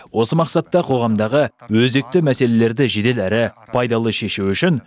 осы мақсатта қоғамдағы өзекті мәселелерді жедел әрі пайдалы шешу үшін